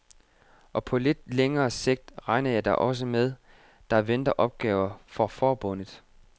Og på lidt længere sigt regner jeg da også med, der venter opgaver for forbundet.